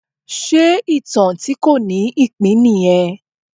Ṣe ìtàn tí kò ní ìpín nìyẹn?